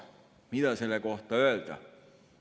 Mida selle kohta öelda?